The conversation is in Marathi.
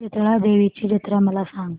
शितळा देवीची जत्रा मला सांग